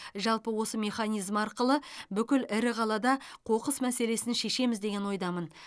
жалпы осы механизм арқылы бүкіл ірі қалада қоқыс мәселесін шешеміз деген ойдамын